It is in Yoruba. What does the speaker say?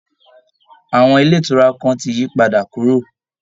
Àwọn ilé ìtura kan ti yí padà kúrò